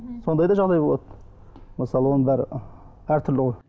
сондай да жағдай болады мысалы оның бәрі ы әртүрлі ғой